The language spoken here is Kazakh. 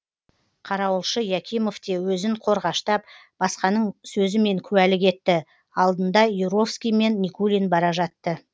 қарауылшы якимов те өзін қорғаштап басқаның сөзімен куәлік етті алдында юровский мен никулин бара жатты